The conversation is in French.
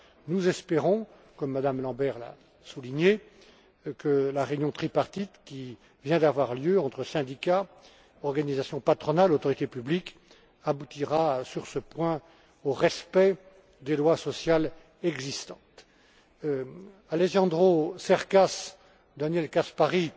Nous espérons, comme Mme Lambert l'a souligné, que la réunion tripartite qui vient d'avoir lieu entre syndicats, organisations patronales, autorités publiques aboutira, sur ce point, au respect des lois sociales existantes. Alejandro Cercas, Daniel Caspary,